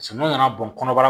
Samiya nana bɔn kɔnɔbara